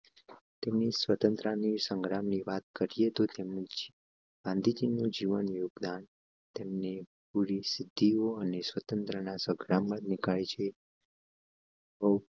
તેમની સ્વતંત્રતા સંગ્રામ ની વાત કરીએ તો તેમને ગાંધીજી નું જીવન યોગદાન તેમને પૂરી સિદ્ધિઓ અને સ્વતંત્રતા સંગ્રામ તનિખાલ છે.